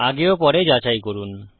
আগে ও পরে যাচাই করুন